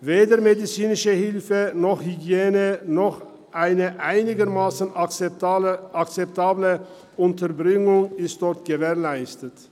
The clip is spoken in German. Weder medizinische Hilfe noch Hygiene noch eine einigermassen akzeptable Unterbringung ist dort gewährleistet.